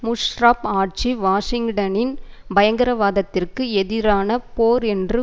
முஷ்ராப் ஆட்சி வாஷிங்டனின் பயங்கரவாதத்திற்கு எதிரான போர் என்று